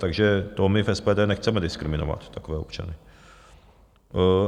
Takže to my v SPD nechceme diskriminovat takové občany.